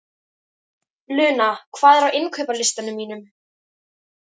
Luna, hvað er á innkaupalistanum mínum?